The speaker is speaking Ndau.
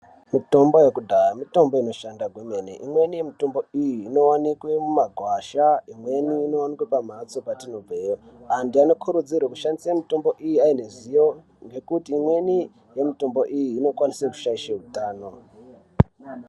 Mitombo yekudaya, mitombo inoshanda gwemene. Imweni mitombo iyi inowanikwe mumagwasha, imweni inowanike pamhatso patinobveyo. Antu anokurudzirwe kushandise mitombo iyi ayeneruziwo nekuti imweni yemitombo iyi, inokwanise kushayishe wutano.